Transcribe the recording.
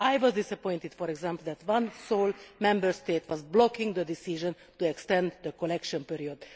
I was disappointed, for example, that one sole Member State was blocking the decision to extend the collection period.